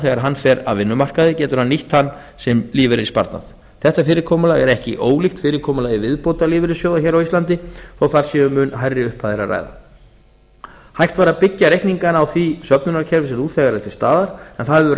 þegar hann fer af vinnumarkaði getur hann nýtt hann sem lífeyrissparnað þetta fyrirkomulag er ekki ólíkt fyrirkomulagi viðbótarlífeyrissjóða hér á íslandi þó þar sé um mun hærri upphæðir að ræða hægt væri að byggja reikningana á því söfnunarkerfi sem nú þegar er til staðar en það hefur